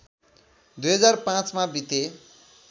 २००५ मा बिते